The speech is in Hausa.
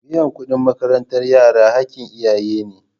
Biyan kuɗin makarantar yara haƙƙin iyaye ne.